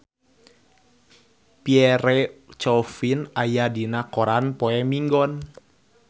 Pierre Coffin aya dina koran poe Minggon